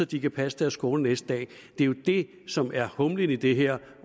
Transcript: de kan passe deres skole næste dag det er jo det som er humlen i det her